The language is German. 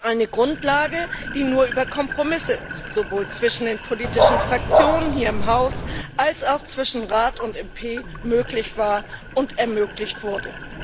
Eine Grundlage, die nur über Kompromisse sowohl zwischen den politischen Fraktionen hier im Haus als auch zwischen Rat und Europäischem Parlament möglich war und ermöglicht wurde.